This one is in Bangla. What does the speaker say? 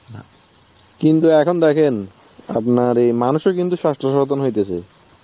কিন্তু এখন দেখেন আপনার অ্যাঁ এই মানুষও কিন্তু স্বাস্থ্য সচেতন হইতেছে.